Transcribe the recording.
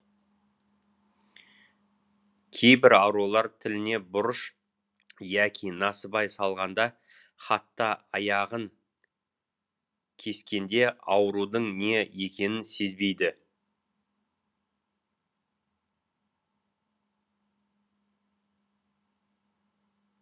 кейбір аурулар тіліне бұрыш яки насыбай салғанда хатта аяғын кескенде аурудың не екенін сезбейді